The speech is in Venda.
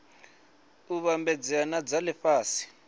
u vhambedzea na dza lifhasi